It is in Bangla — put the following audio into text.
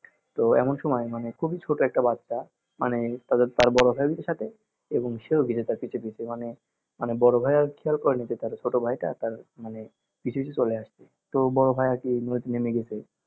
তো এমন সময় মানে খুবই ছোট একটি বাচ্চা মানে তার বড়ভাই ও যদি থাকে এবং সে ও মানে বড়ভাই ও ছোটভাইটা তার মানে পিছুপিছু চলে আসছে তো বড়ভাই আর কি নদীতে নেমে গেছে